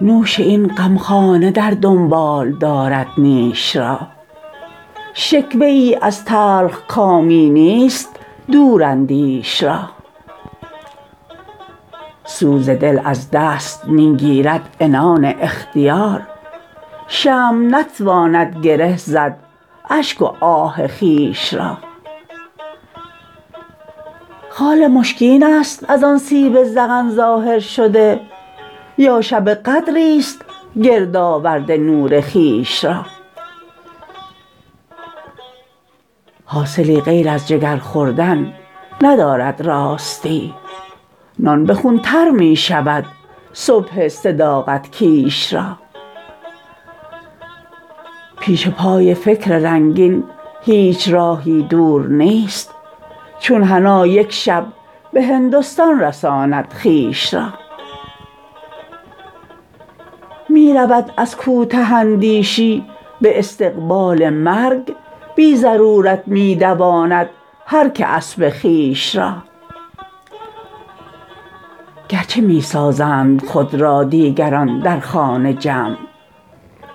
نوش این غمخانه در دنبال دارد نیش را شکوه ای از تلخکامی نیست دوراندیش را سوز دل از دست می گیرد عنان اختیار شمع نتواند گره زد اشک و آه خویش را خال مشکین است ازان سیب ذقن ظاهر شده یا شب قدری است گرد آورده نور خویش را حاصلی غیر از جگر خوردن ندارد راستی نان به خون تر می شود صبح صداقت کیش را پیش پای فکر رنگین هیچ راهی دور نیست چون حنا یک شب به هندستان رساند خویش را می رود از کوته اندیشی به استقبال مرگ بی ضرورت می دواند هر که اسب خویش را گر چه می سازند خود را دیگران در خانه جمع